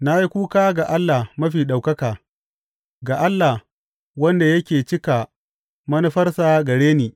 Na yi kuka ga Allah Mafi Ɗaukaka, ga Allah, wanda yake cika manufarsa gare ni.